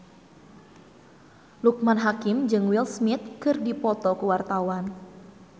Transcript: Loekman Hakim jeung Will Smith keur dipoto ku wartawan